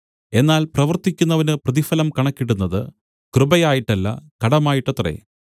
എന്നാൽ പ്രവർത്തിക്കുന്നവന് പ്രതിഫലം കണക്കിടുന്നത് കൃപയായിട്ടല്ല കടമായിട്ടത്രേ